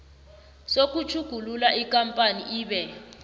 sokutjhugulula ikampani ibe